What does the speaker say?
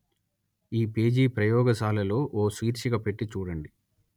ఈ పేజీ ప్రయోగశాల లో ఓ శీర్షిక పెట్టి చూడండి